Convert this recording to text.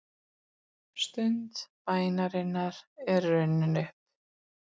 Stund bænarinnar er runnin upp.